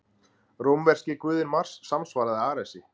Rómverski guðinn Mars samsvaraði Aresi.